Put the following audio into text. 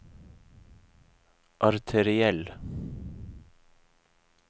arteriell